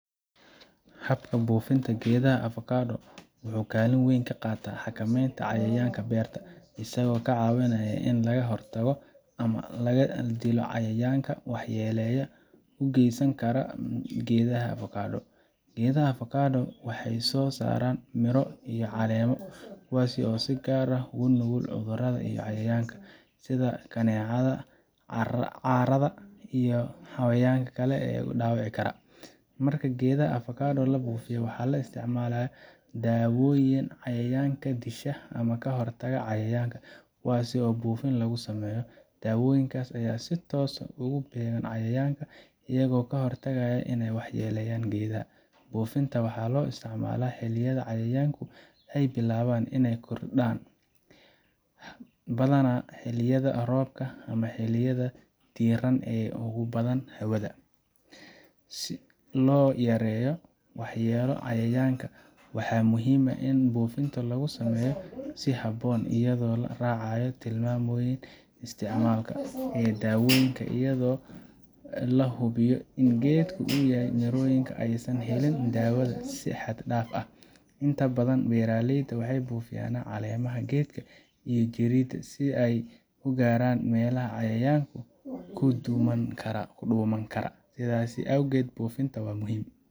Habka buufinta geedaha avocado wuxuu kaalin weyn ka qaataa xakameynta cayayaanka beerta, isagoo ka caawinaya in laga hortago ama laga dilo cayayaanka waxyeelada u geysan kara geedaha avocado. Geedaha avocado waxay soo saaraan miro iyo caleemo kuwaas oo si gaar ah u nugul cudurrada iyo cayayaanka, sida kaneecada, caarada, iyo xayawaanka kale ee dhaawici kara. Marka geedaha avocado la buufiyo, waxaa la isticmaalaa daawooyin cayayaanka disha ama ka hortagga cayayaanka kuwaas oo buufin lagu sameeyo. Daawooyinkan ayaa si toos ah ugu beegan cayayaanka, iyagoo ka hortagaya inay waxyeeleeyaan geedaha. Buufinta waxaa loo isticmaalaa xilliyada cayayaanku ay bilaabaan inay kordhaan, badanaa xilliyada roobka ama xilliyada diiran ee ugu badan hawada. Si loo yareeyo waxyeellada cayayaanka, waxaa muhiim ah in buufinta lagu sameeyo si habboon, iyadoo la raacayo tilmaamoyin isticmaalka ee daawooyinka iyo iyadoo la hubinayo in geedka iyo mirooyinka aysan helin daawada si xad dhaaf ah. Inta badan, beeraleyda waxay buufiyaan caleemaha geedka iyo jirridda si ay u gaaraan meelaha cayayaanku ku dhuuman karaan. Sidaas awgeed, buufinta waa muhim.